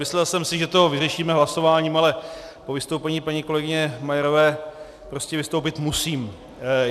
Myslel jsem si, že to vyřešíme hlasováním, ale po vystoupení paní kolegyně Majerové prostě vystoupit musím.